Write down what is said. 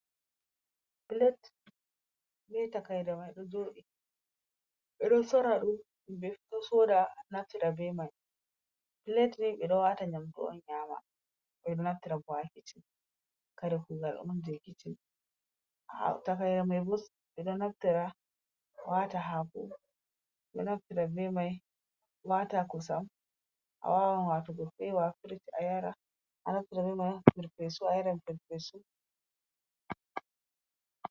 Plet be takaire mai ɗo jooɗi. Ɓe ɗo soora ɗum, himɓe fu ɗo soda naftira be mai. Plet ni ɓe ɗo waara nymdu on nyama. Ɓe ɗo naftira bo ha kitchen. Kare kuugal on jei kicin. Takaire mai bo ɓe ɗo naftira waata haako, ɓe ɗo naftira be mai waata kosam, a wawan waatugo fewa haa firij a yara. A naftira be mai ha perpesu, a yaran perpesu.